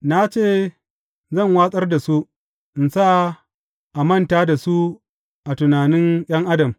Na ce zan watsar da su in sa a manta da su a tunanin ’yan adam.